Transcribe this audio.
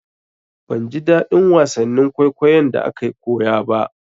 Ban ji daɗin wasannin kwaikwayon da akayi koya ba.